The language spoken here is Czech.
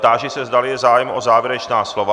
Táži se, zdali je zájem o závěrečná slova.